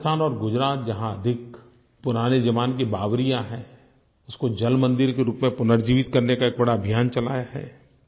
राजस्थान और गुजरात जहाँ अधिक पुराने जमाने की बावड़ियाँ हैं उनको जलमंदिर के रूप में पुनर्जीवित करने का एक बड़ा अभियान चलाया है